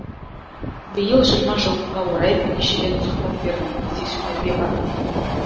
биыл жиырма жылдыққа орай бірнеше рет сұхбат бердім кездесулерге бардым